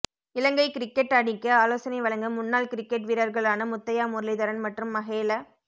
இலங்கை cricket அணிக்கு ஆலோசனை வழங்க முன்னாள் கிரிக்கெட் வீரர்களான முத்தையா முரளிதரன் மற்றும் மஹேல